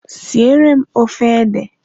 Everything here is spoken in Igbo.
Siere m ofe ede!